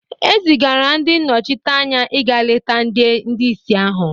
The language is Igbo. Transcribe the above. e zigara ndị nnọchiteanya ịga leta ndị ìsì ahụ